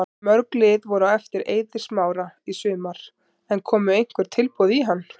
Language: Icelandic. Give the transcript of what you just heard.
Mörg lið voru á eftir Eiði Smára í sumar en komu einhver tilboð í hann?